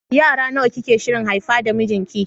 Yara nawa kike shirin haifa da mijinki?